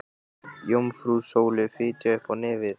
Jómfrú Sóley fitjaði upp á nefið.